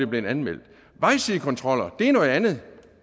blevet anmeldt vejsidekontroller er noget andet